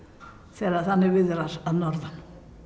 þegar þannig viðrar að norðan